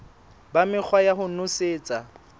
ba mekgwa ya ho nosetsa